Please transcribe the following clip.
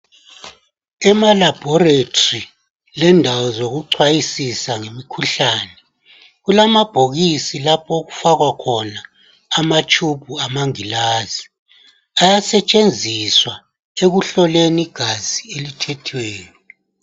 Emalabhorethri lendawo zokucwayisisa imkhuhlane kulamabhokisi lapho okufakwa khona amatshubhu amangilazi ayasetshenzisa ekuhloleni igazi elithethweyo